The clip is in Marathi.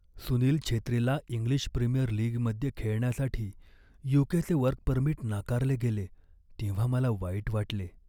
सुनील छेत्रीला इंग्लिश प्रीमियर लीगमध्ये खेळण्यासाठी यू.के.चे वर्क परमिट नाकारले गेले तेव्हा मला वाईट वाटले.